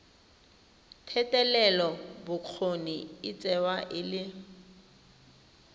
thetelelobokgoni e tsewa e le